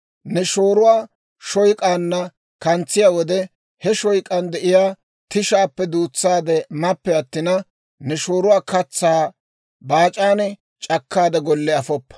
Ne shooruwaa shoyk'aanna kantsiyaa wode, he shoyk'aan de'iyaa tishaappe duutsaade mappe attina, ne shooruwaa katsaa baac'aan c'akkaade golle afoppa.